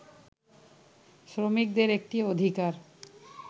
শ্রমিকদের একটি অধিকার